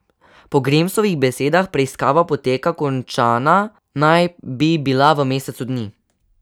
Po Grimsovih besedah preiskava poteka, končana naj bi bila v mesecu dni.